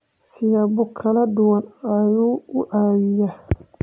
siyaabo kala duwan ayuu u caawiyaa.